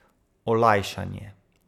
Olajšanje.